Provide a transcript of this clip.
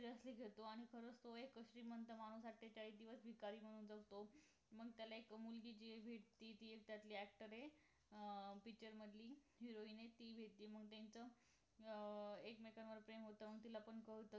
seriasoly घेतो आणि खरंच तो एक श्रीमंत माणूस आठेचाळीस दिवस भिकारी म्हणुन जगतो मग त्याला एक मुलगी जी जी एक त्यातली actor आहे अं picture मधली heroin आहे ती मग भेटती अं मग त्यांचं अं एकमेकांवर प्रेम होत तिला पण कळत